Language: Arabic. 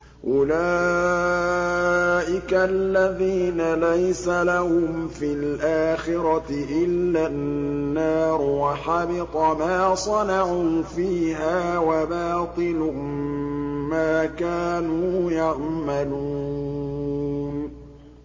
أُولَٰئِكَ الَّذِينَ لَيْسَ لَهُمْ فِي الْآخِرَةِ إِلَّا النَّارُ ۖ وَحَبِطَ مَا صَنَعُوا فِيهَا وَبَاطِلٌ مَّا كَانُوا يَعْمَلُونَ